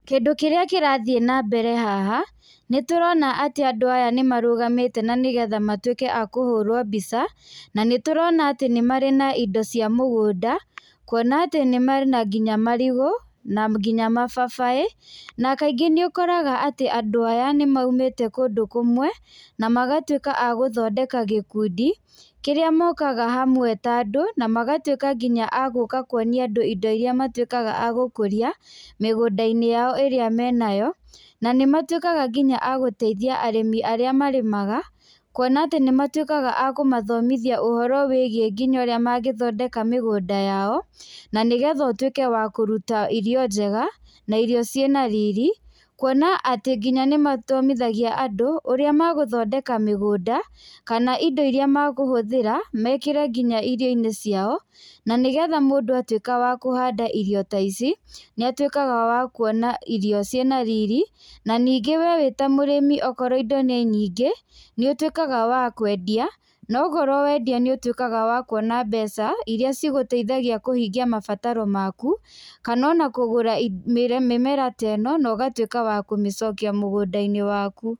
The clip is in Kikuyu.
Kĩndũ kĩrĩa kĩrathiĩ na mbere haha, nĩ tũrona andũ aya nĩ marũgamĩte na nĩgetha matuĩke a kũhũrwo mbica na nĩ tũrona atĩ nĩ marĩ na indo cia mĩgũnda, kwona atĩ mena nginya marigũ, na nginya mababaĩ, na kaingĩ nĩ ũkoraga andũ aya nĩ maumĩte kũndũ kĩmwe na magatuĩka andũ a gũthondeka gikuendi, kĩrĩa mokaga hamwe ta andũ na magatuĩka nginya a kwonia andũ indo iria matuĩkaga gũkũria mĩgũnda-inĩ yao ĩrĩa menayo na nĩ matuĩkaga agũteithia arĩmi arĩa marĩmaga kwona atĩ nĩ matuĩkaga akũmathomithia ũhoro wĩgie nginya ũrĩa mangĩthondeka mĩgũnda yao, na nĩgetha ũtuĩke wa kũruta irio njega na irio ciĩ na riri, na kwona atĩ nginya nĩ mathomithagia andũ ũrĩa magũthondeka mĩgũnda kana indo iria mekũhũthĩra mekĩre nginya irio-inĩ ciao, na nĩgetha mũndũ atuĩka wa kũhanda irio ta ici nĩ atuĩkaga wa kwona irio ciĩ na riri na ningĩ we wĩta mũrĩmi okorwo indo nĩ nyingĩ, nĩ ũtuĩkaga wa kwendia na wakorwo wendia nĩ ũtuĩkaga wa kwona mbeca iria igũteithagia kũhingia mabataro maku, kana ona kũgũra mĩmera ta ĩno na ũgatuĩka wa kũmĩcokia mũgũnda-inĩ waku.